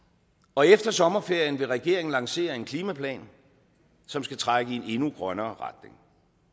og efter sommerferien vil regeringen lancere en klimaplan som skal trække i en endnu grønnere retning